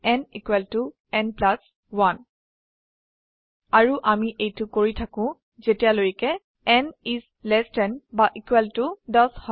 n n 1 আৰু আমি এইটো কৰি থাকো যেতিয়ালৈকে n ইস লেস দেন বা ইকুয়াল টু 10 হয়